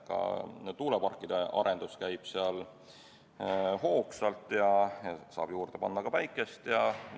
Tuuleparkide arendus käib seal hoogsalt ja juurde saab panna ka päikeseenergiat.